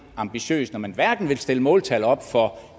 ambitiøst når man hverken vil stille måltal op for